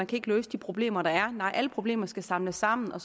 kan løse de problemer der er nej alle problemer skal samles sammen og